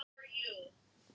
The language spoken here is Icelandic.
Nikulás, viltu hoppa með mér?